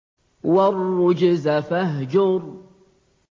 وَالرُّجْزَ فَاهْجُرْ